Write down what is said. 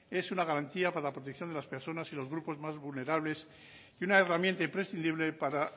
es una garantía para la protección de las personas y los grupos más vulnerables y una herramienta imprescindible para